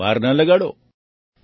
તો પછી વાર ન લગાડો